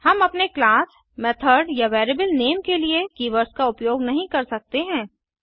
हम अपने class method या वेरिएबल नेम के लिए कीवर्ड्स का उपयोग नहीं कर सकते हैं